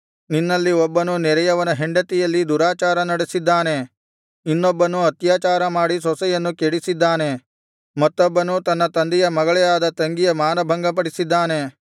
ನಿನ್ನಲ್ಲಿ ಒಬ್ಬನು ನೆರೆಯವನ ಹೆಂಡತಿಯಲ್ಲಿ ದುರಾಚಾರ ನಡಿಸಿದ್ದಾನೆ ಇನ್ನೊಬ್ಬನು ಅತ್ಯಾಚಾರ ಮಾಡಿ ಸೊಸೆಯನ್ನು ಕೆಡಿಸಿದ್ದಾನೆ ಮತ್ತೊಬ್ಬನು ತನ್ನ ತಂದೆಯ ಮಗಳೇ ಆದ ತಂಗಿಯ ಮಾನಭಂಗಪಡಿಸಿದ್ದಾನೆ